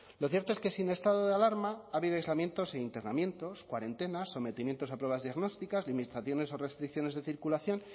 lo cierto es que sin estado de alarma ha habido aislamientos e internamientos cuarentenas sometimientos a pruebas diagnósticas limitaciones o restricciones de circulación